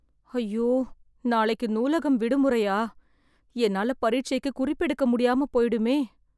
ஐயோ நாளைக்கு நூலகம் விடுமுறையா, என்னால பரீட்சைக்குக் குறிப்பு எடுக்க முடியாம போயிடுமே...